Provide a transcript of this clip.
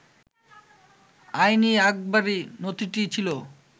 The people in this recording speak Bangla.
আইন-ই-আকবরি নথিটি ছিল